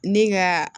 Ne ka